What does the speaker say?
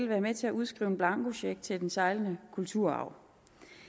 være med til at udskrive en blankocheck til den sejlende kulturarv